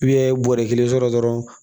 bɔrɛ kelen sɔrɔ dɔrɔn